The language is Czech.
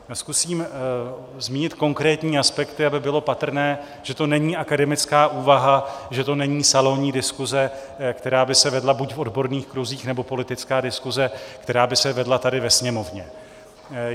Zkusím zmínit konkrétní aspekty, aby bylo patrné, že to není akademická úvaha, že to není salonní diskuse, která by se vedla buď v odborných kruzích, nebo politická diskuse, která by se vedla tady ve Sněmovně.